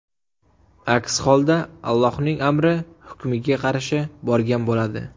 Aks holda, Allohning amri, hukmiga qarshi borgan bo‘ladi.